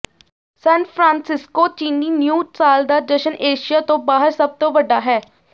ਸਾਨ Francisco ਚੀਨੀ new ਸਾਲ ਦਾ ਜਸ਼ਨ ਏਸ਼ੀਆ ਤੋਂ ਬਾਹਰ ਸਭ ਤੋਂ ਵੱਡਾ ਹੈ